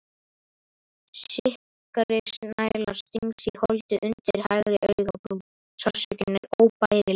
Sikkrisnæla stingst í holdið undir hægri augabrún, sársaukinn er óbærilegur.